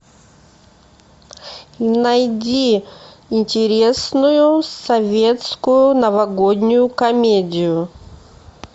найди интересную советскую новогоднюю комедию